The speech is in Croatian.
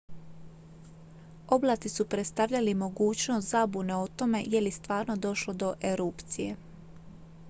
oblaci su predstavljali mogućnost zabune o tome je li stvarno došlo do erupcije